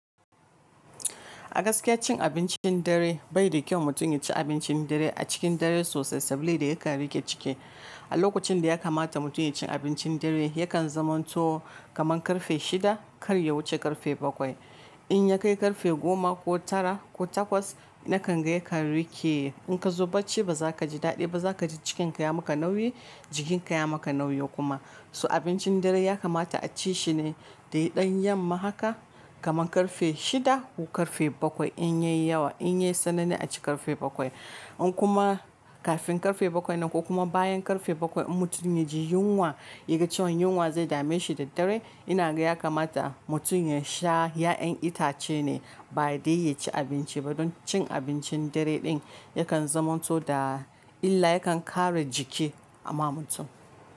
A gaskiya cin abincin dare bai da kyau. Mutum ya ci abincin dare a cikin dare sosai saboda da yakan rike ciki. A lokacin da ya kamata mutum ya ci abincin dare yakan zamanto kaman karfe shida kar ya wuce karfe bakwai. In ya kai karfe goma ko tara ko takwas na kan ga ya kan rike. In ka zo bacci ba za ka ji daɗi ba, za ka ji cikinka ya maka nauyi, jikinka ya maka nauyi kuma. So abincin dare ya kamata a ci shi ne da ɗan yam ma haka kaman karfe shida ko karfe bakwai in yayi yawa. In yayi sanani a ci karfe bakwai. In kuma kafin karfe bakwai nan ko kuma bayan karfe bakwai in mutum ya ji yunwa, ya ga cewa yunwa zai dame shi da dare ina ga ya kamata mutum ya sha ya'yan itace ne ba dai ya ci abinci ba. Don cin abincin dare ɗin yakan zamanto da illa, yakan ƙara jiki ama mutum.